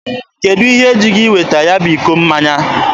Kedụ ihe ji gị iweta ya bụ iko mmanya?